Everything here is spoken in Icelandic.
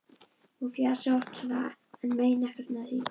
Hún fjasi oft svona en meini ekkert með því.